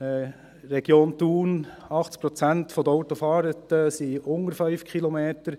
In der Region Thun sind 80 Prozent der Autofahrten unter 5 Kilometern.